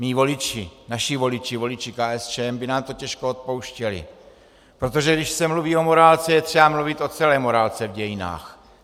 Mí voliči, naši voliči, voliči KSČM, by nám to těžko odpouštěli, protože když se mluví o morálce, je třeba mluvit o celé morálce v dějinách.